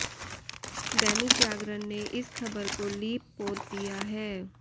दैनिक जागरण ने इस खबर को लीप पोत दिया है